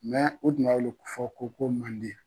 o tun b'a weele fɔ ko ko Manden